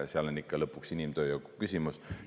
See on ikka lõpuks inimtööjõuküsimus.